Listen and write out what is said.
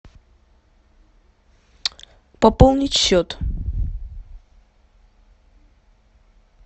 пополнить счет